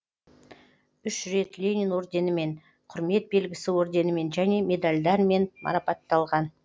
үш рет ленин орденімен құрмет белгісі орденімен және медальдармен марапатталған